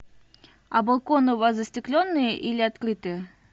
а балконы у вас застекленные или открытые